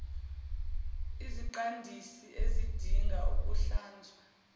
iziqandisi azidingi ukuhlanzwa